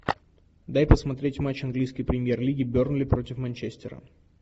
дай посмотреть матч английской премьер лиги бернли против манчестера